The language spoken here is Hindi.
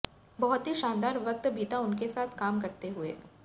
बहुत ही शानदार वक्त बीता उनके साथ काम करते हुए